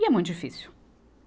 E é muito difícil.